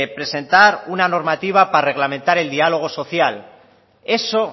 presentar una normativa para reglamentar el diálogo social eso